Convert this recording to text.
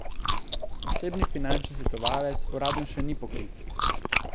Osebni finančni svetovalec uradno še ni poklic.